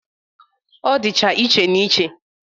Ọ dịcha iche na iche